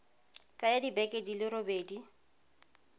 tsaya dibeke di le robedi